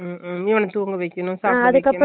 உம்முகன்னாதூங்கவைக்கணும்சாப்பட